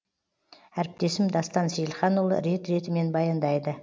әріптесім дастан сейілханұлы рет ретімен баяндайды